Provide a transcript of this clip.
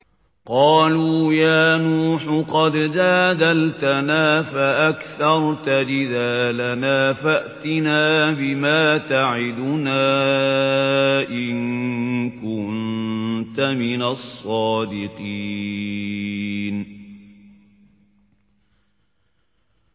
قَالُوا يَا نُوحُ قَدْ جَادَلْتَنَا فَأَكْثَرْتَ جِدَالَنَا فَأْتِنَا بِمَا تَعِدُنَا إِن كُنتَ مِنَ الصَّادِقِينَ